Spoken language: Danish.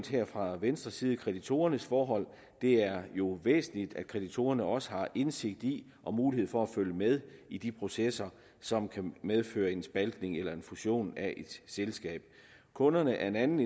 her fra venstres side kreditorernes forhold og det er jo væsentligt at kreditorerne også har indsigt i og mulighed for at følge med i de processer som kan medføre en spaltning eller en fusion af et selskab kunderne er en anden